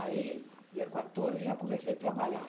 Aí dia quatorze eu já comecei a trabalhar.